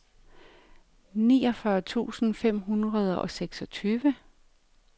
niogfyrre tusind fem hundrede og seksogtyve